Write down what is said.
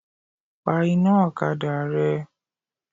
Pa iná ọ̀kadà rẹ.